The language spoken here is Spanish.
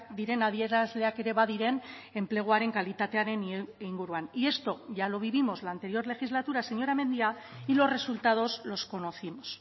diren adierazleak ere badiren enpleguaren kalitatearen inguruan y esto ya lo vivimos la anterior legislatura señora mendia y los resultados los conocimos